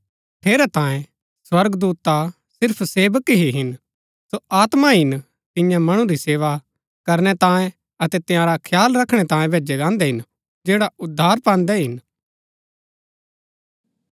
ठेरैतांये स्वर्गदूत ता सिर्फ सेवक ही हिन सो आत्मा हिन तियां मणु री सेवा करनै तांये अतै तंयारा खयाल रखणै तांये भैजै गान्दै हिन जैड़ा उद्धार पान्दै हिन